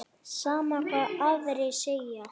Sama hvað aðrir segja.